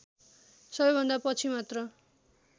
सबैभन्दा पछि मात्र